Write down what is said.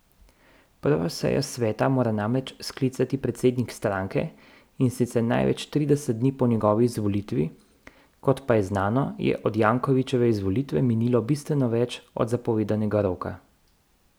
Prvo sejo sveta mora namreč sklicati predsednik stranke, in sicer največ trideset dni po njegovi izvolitvi, kot pa je znano, je od Jankovićeve izvolitve minilo bistveno več od zapovedanega roka.